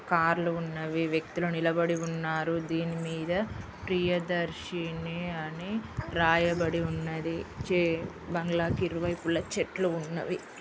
కార్లు ఉన్నవి వ్యక్తులు నిలబడి ఉన్నారు దీని మీద ప్రియదర్శిని అని రాయబడి ఉన్నది.